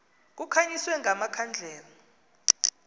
kukhanyiswe nga makhandlela